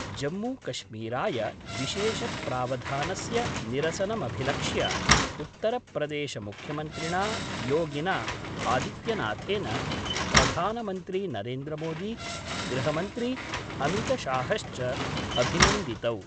जम्मूकश्मीराय विशेष प्रावधानस्य निरसनमभिलक्ष्य उत्तरप्रदेश मुख्यमन्त्रिणा योगिना आदित्यनाथेन, प्रधानमन्त्री नरेन्द्रमोदी, गृहमन्त्री अमित शाहश्च अभिनन्दितौ।